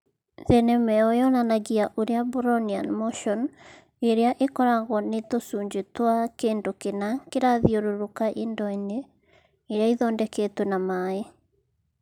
Thenema ĩyo yonanagia ũrĩa Brownian motion ĩrĩa ĩkoragwo nĩ tũcunjĩ twa kĩndũ kĩna kĩrathiũrũrũka indo-inĩ iria ithondeketwo na maaĩ.